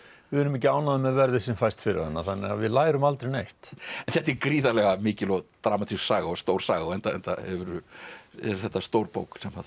við erum ekki ánægðir með verðið sem fæst fyrir hana þannig að við lærum aldrei neitt en þetta er gríðarlega mikil og dramatísk saga og stór saga enda enda er þetta stór bók